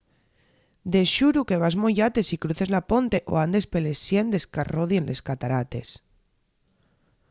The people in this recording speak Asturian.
de xuru que vas moyate si cruces la ponte o andes peles siendes qu'arrodien les catarates